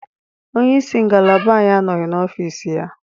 Onye isi ngalaba anyị anọghị n'ọfiisi ya